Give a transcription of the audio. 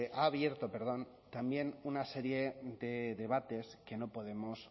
ha abierto también una serie de debates que no podemos